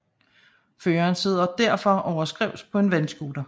Føreren sidder derfor overskrævs på en vandscooter